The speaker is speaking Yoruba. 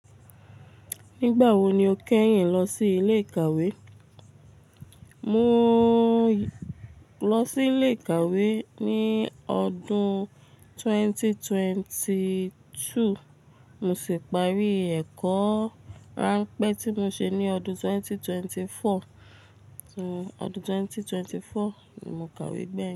Nígbà wo ni o kẹ́yìn lọ sí ilé ìkàwé? Mo lọ sí ilé ìkàwé ní ọdún 2022. Mo sì parí ẹ̀kọ́ ránpẹ́ tí mo ṣe ní ọdún 2024. Òun, ọdún 2024 ni mo kàwé bẹ́ẹ̀.